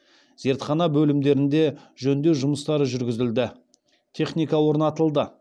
зертхана бөлімдерінде жөндеу жұмыстары жүргізілді техника орнатылды